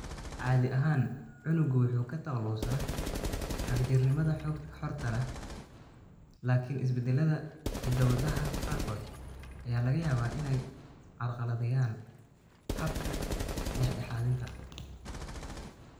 Caadi ahaan, unuggu wuxuu ka takhalusaa xagjirnimada xorta ah, laakiin isbeddellada hidda-wadaha qaarkood ayaa laga yaabaa inay carqaladeeyaan habkan dhexdhexaadinta.